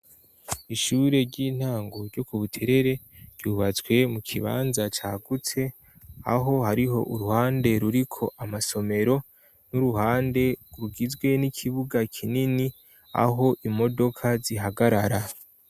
Ishure ry'intango ryo ku Buterere ryubatswe mu kibanza cagutse, aho hariho uruhande ruriko amasomero, n'uruhande rugizwe n'ikibuga kinini aho imodoka zihagarara.